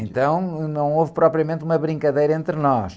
Então não houve propriamente uma brincadeira entre nós.